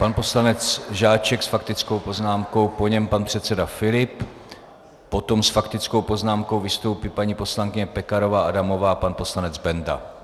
Pan poslanec Žáček s faktickou poznámkou, po něm pan předseda Filip, potom s faktickou poznámkou vystoupí paní poslankyně Pekarová Adamová a pan poslanec Benda.